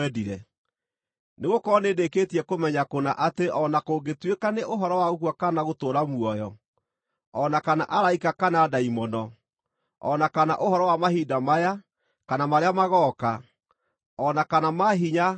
Nĩgũkorwo nĩndĩkĩtie kũmenya kũna atĩ o na kũngĩtuĩka nĩ ũhoro wa gũkua kana gũtũũra muoyo, o na kana araika kana ndaimono, o na kana ũhoro wa mahinda maya kana marĩa magooka, o na kana maahinya o na marĩkũ,